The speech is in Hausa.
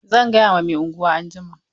Zan ga Mai unguwa anjima.